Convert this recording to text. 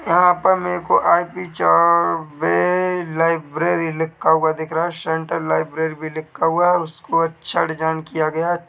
यहा पर मुझे आई पी चौबे लाइब्रेरी लिखा हुआ दिख रहा है सेंट्रल लाइब्रेरी भी लिखा हुआ है और उसको चड जॉइन किया गया है।